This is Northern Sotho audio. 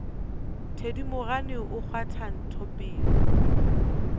thedimogane o kgwatha ntho pelong